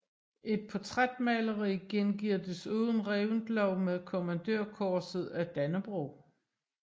Et portrætmaleri gengiver desuden Reventlow med Kommandørkorset af Dannebrog